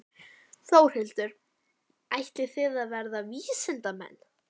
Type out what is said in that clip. Þórhildur: Ætlið þið að verða vísindamenn?